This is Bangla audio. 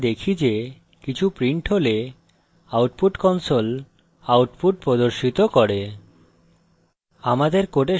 আমরা দেখি যে কিছু printed হলে output console output প্রদর্শিত করে